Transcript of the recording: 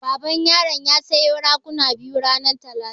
Baban yaran ya siyo raguna biyu ranar talata.